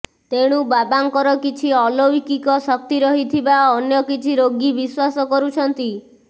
ତେଣୁ ବାବାଙ୍କର କିଛି ଅଲୌଲିକ ଶକ୍ତି ରହିଥିବା ଅନ୍ୟ କିଛି ରୋଗୀ ବିଶ୍ୱାସ କରୁଛନ୍ତି